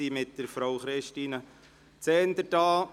Die Schülerinnen und Schüler sind mit Frau Christine Zehnder hier.